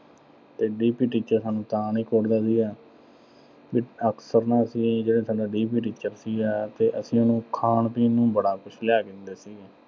ਤੇ D. P. teacher ਸਾਨੂੰ ਤਾਂ ਨੀਂ ਕੁੱਟਦਾ ਸੀਗਾ। ਵੀ ਅਕਸਰ ਨੂੰ ਉਹਦੇ ਅਸੀ ਜਿਹੜਾ ਸਾਡਾ D. P. teacher ਸੀਗਾ ਤੇ ਅਸੀਂ ਉਹਨੂੰ ਖਾਣ-ਪੀਣ ਨੂੰ ਬੜਾ ਲਿਆ ਕੇ ਦਿੰਦੇ ਸੀਗੇ।